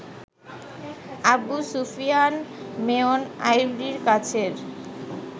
Abu Sufian mayor আইভীর কাছের